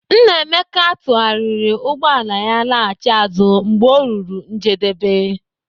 Nnaemeka tụgharịrị ụgbọala ya laghachi azụ mgbe o ruru njedebe.